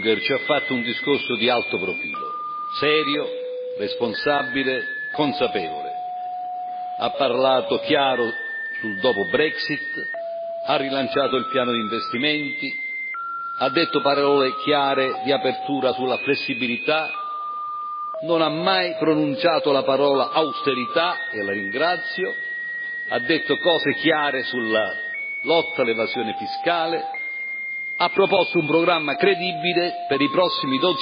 Signor Presidente, onorevoli colleghi, il Presidente Juncker ci ha fatto un discorso di alto profilo, serio, responsabile, consapevole. Ha parlato chiaro sul dopo Brexit, ha rilanciato il piano di investimenti, ha detto parole chiare di apertura sulla flessibilità, non ha mai pronunciato la parola austerità e lo ringrazio ha detto cose chiare sulla lotta all'evasione fiscale, ha proposto un programma credibile per i prossimi